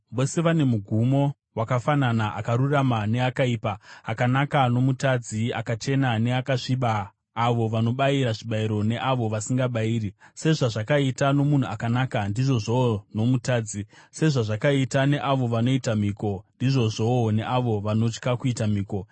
Vose vane mugumo wakafanana, akarurama neakaipa, akanaka nomutadzi, akachena neakasviba, avo vanobayira zvibayiro neavo vasingabayiri. Sezvazvakaita nomunhu akanaka, ndizvozvowo nomutadzi; sezvazvakaita neavo vanoita mhiko, ndizvozvowo neavo vanotya kuita mhiko.